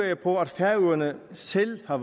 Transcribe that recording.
jeg på at færøerne selv har